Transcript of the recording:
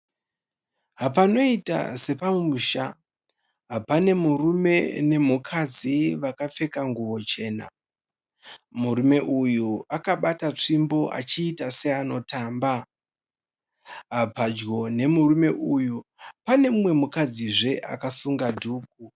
Panoita sepamusha, pane murume nemukadzi vakapfeka zvichena. Murume anoita seari kutamba pedyo nemurume uyu panemukadzizve akasunga dhuku.